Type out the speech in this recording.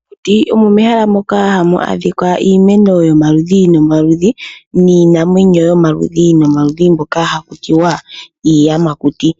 Mokuti omo mehala moko hamu adhika iimeno yomaludhi nomaludhi niinamwenyo yomaludhi nomaludhi mboka ha kutiwa iiyamakuti.